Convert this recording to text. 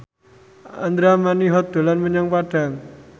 Andra Manihot dolan menyang Padang